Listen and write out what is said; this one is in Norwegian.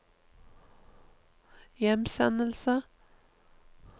hjemsendelse